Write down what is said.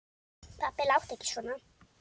Pabbi láttu ekki svona.